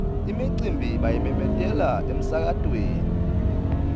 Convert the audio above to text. imicimbi bayimemetela emsakatweni